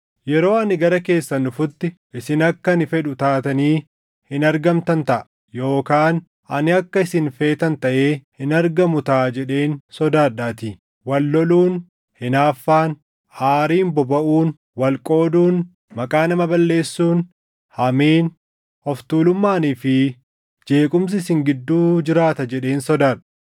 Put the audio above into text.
Yeroo ani gara keessan dhufutti isin akka ani fedhu taatanii hin argamtan taʼa. Yookaan ani akka isin feetan taʼee hin argamu taʼa jedheen sodaadhaatii. Wal loluun, hinaaffaan, aariin bobaʼuun, wal qooduun, maqaa nama balleessuun, hamiin, of tuulummaanii fi jeequmsi isin gidduu jiraata jedheen sodaadha.